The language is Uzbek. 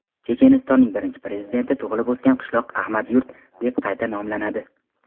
Chechenistonning birinchi prezidenti tug‘ilib-o‘sgan qishloq Ahmad-yurt deb qayta nomlanadi.